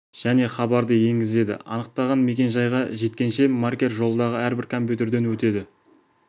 және хабарды енгізеді анықтаған мекен-жайға жеткенше маркер жолдағы әрбір компьютерден өтеді